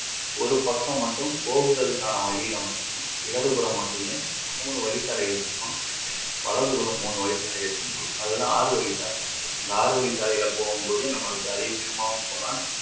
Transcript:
ஒரு பக்கம் மட்டும் போக்குதலுக்கான வழில மட்டும் இடது புறம் மட்டுமே மூனு வழி சாலைகள் இருக்கும் வலது புறம் மூனு வழி சாலைகள் இருக்கும் அதுதான் ஆறு வழிப்பாதை -இந்த ஆறுவழி சாலைல போகும் போது நம்மளுக்கு அதி வேகமாகவும் போகலாம்